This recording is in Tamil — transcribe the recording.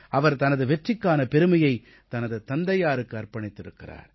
அவர் தனது வெற்றிக்கான பெருமையை தனது தந்தையாருக்கு அர்ப்பணித்திருக்கிறார்